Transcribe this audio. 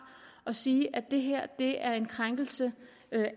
og sige det her er er en krænkelse